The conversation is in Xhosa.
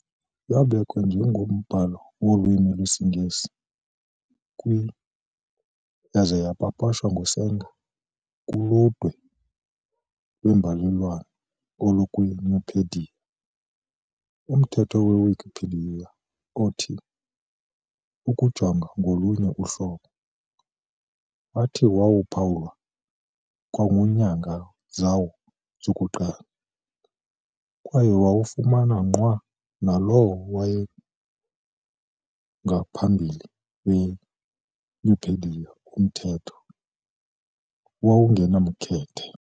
Yabekwa njengombhalo wolwimi lwesiNgesi kwi- yaza yapapashwa nguSanger kuludwe lwembalelwano olukwiNupedia. Umthetho weWikipedia othi "ukujonga ngolunye uhlobo" wathi waphawulwa kwakunyanga zawo zokuqala, kwaye wawufana nqwa nalowo wangaphambili weNupedia umthetho "owawungenamkhethe".